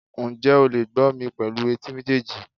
njẹ o le gbó mí pelu etí mejeejí